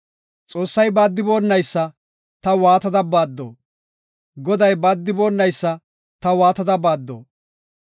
Xoossi baaddiboonaysa ta waatada baaddo? Goday, baaddiboonaysa ta waatada baaddo?